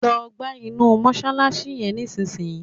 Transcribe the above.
Lọ gbá inú mọ́ṣáláṣí yẹn nísìnyí!